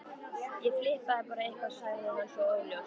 Ég flippaði bara eitthvað sagði hann svo óljóst.